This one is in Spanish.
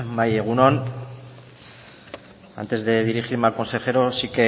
bai egun on antes de dirigirme al consejero sí